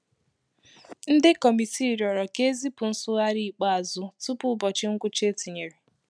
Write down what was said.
Ndi kọmitii rịọrọ ka e zipụ nsụgharị ikpeazụ tupu ụbọchị ngwụcha e tinyere.